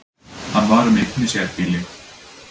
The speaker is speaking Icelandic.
Hann var um eign í sérbýli